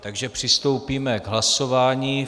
Takže přistoupíme k hlasování.